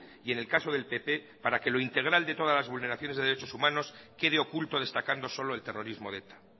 y en el caso del pp para que lo integral de todas las vulneraciones de derechos humanos quede oculto destacando solo el terrorismo de eta